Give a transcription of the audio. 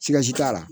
Sikaso t'a la